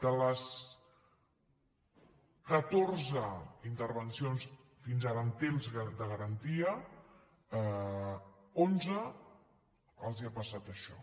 de les catorze intervencions fins ara en temps de garantia a onze els ha passat això